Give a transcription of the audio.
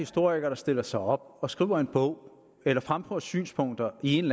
historiker der stiller sig op skriver en bog eller fremfører synspunkter i en